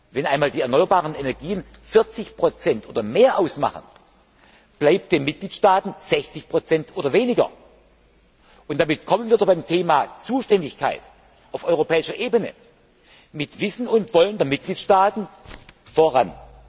Wenn einmal die erneuerbaren Energien 40 oder mehr ausmachen, bleibt den Mitgliedstaaten 60 oder weniger, und damit kommen wir beim Thema Zuständigkeit auf europäischer Ebene mit Wissen und Wollen der Mitgliedstaaten voran.